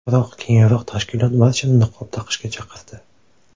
Biroq keyinroq tashkilot barchani niqob taqishga chaqirdi.